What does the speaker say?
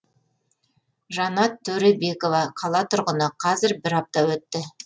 жанат төребекова қала тұрғыны қазір бір апта өтті